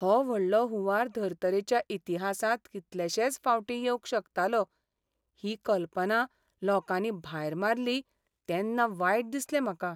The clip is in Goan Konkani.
हो व्हडलो हुंवार धर्तरेच्या इतिहासांत कितलेशेच फावटीं येवंक शकतालो ही कल्पना लोकांनी भायर मारली तेन्ना वायट दिसलें म्हाका.